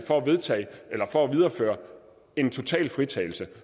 for at videreføre en total fritagelse